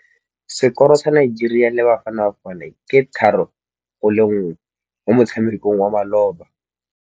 Sekôrô sa Nigeria le Bafanabafana ke 3-1 mo motshamekong wa malôba.